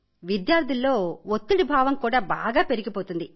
విద్యార్థులలో ఒత్తిడిభావం కూడా బాగా పెరిగిపోయింది